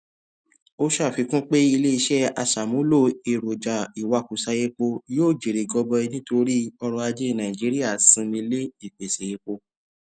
ó ṣàfikún pé iléiṣẹ aṣàmúlò èròjà ìwakùsà epo yóò jèrè gọbọi nítorí ọrọajé nàìjíríà sinmi lé ìpèsè epo